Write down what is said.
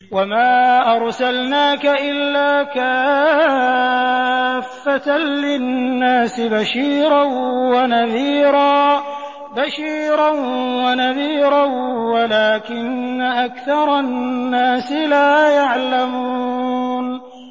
وَمَا أَرْسَلْنَاكَ إِلَّا كَافَّةً لِّلنَّاسِ بَشِيرًا وَنَذِيرًا وَلَٰكِنَّ أَكْثَرَ النَّاسِ لَا يَعْلَمُونَ